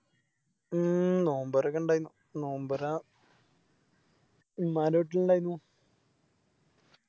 ഉം നോമ്പ് തോറോക്കെ ഇണ്ടായിന്നു നോമ്പൊറ തിന്നാപറ്റിലിണ്ടായിനു